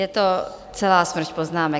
Je to celá smršť poznámek.